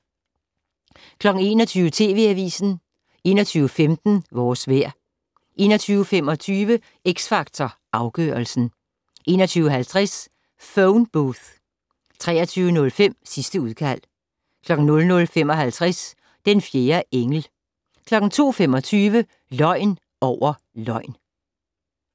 21:00: TV Avisen 21:15: Vores vejr 21:25: X Factor Afgørelsen 21:50: Phone Booth 23:05: Sidste udkald 00:55: Den fjerde engel 02:25: Løgn over løgn